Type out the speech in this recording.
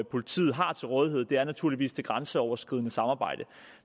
politiet har til rådighed naturligvis er det grænseoverskridende samarbejde